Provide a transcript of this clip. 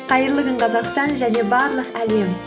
қайырлы күн қазақстан және барлық әлем